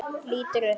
Lítur upp.